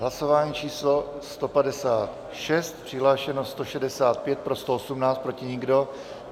Hlasování číslo 156, přihlášeno 165, pro 118, proti nikdo.